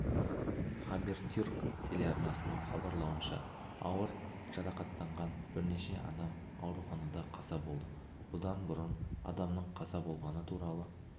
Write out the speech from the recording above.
хабертюрк телеарнасының хабарлауынша ауыр жарақаттанған бірнеше адам ауруханада қаза болды бұдан бұрын адамның қаза болғаны туралы